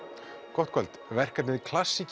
gott kvöld verkefnið